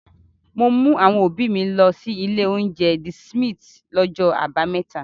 Mo mú àwọn òbí mi lọ sí ilé-oúnjẹ The Smith lọ́jọ́ àbámẹ́ta.